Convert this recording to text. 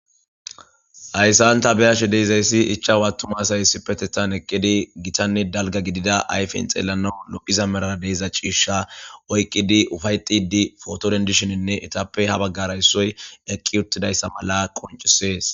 hayssan ta beyashe deezayssi ichchachu attuma asaye ssippeththan eqqidi gitanne dalga gidida ayfen xelanna lo'iza malaara deeza ciisha oyqqidi uppayetid poto denidishin itappe ha baggara issoy eqqi uttidayssa mala qoncisees